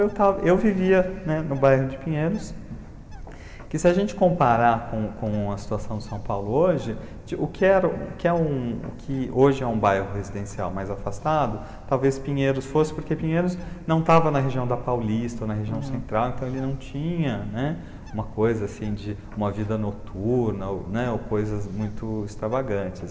Então, eu vivia no bairro de Pinheiros, que se a gente comparar com, com a situação de São Paulo hoje, o que era, o que é um que hoje é um bairro residencial mais afastado, talvez Pinheiros fosse, porque Pinheiros não estava na região da Paulista, ou na região central, então ele não tinha uma coisa assim de uma vida noturna, né, ou coisas muito extravagantes.